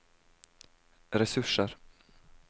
ressurser